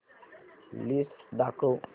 list दाखव